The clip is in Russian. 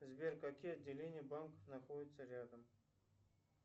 сбер какие отделения банков находятся рядом